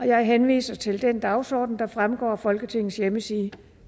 jeg henviser til den dagsorden der fremgår af folketingets hjemmeside